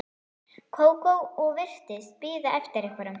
Kókó og virtist bíða eftir einhverjum.